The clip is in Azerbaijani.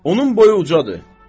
Onun boyu ucadır.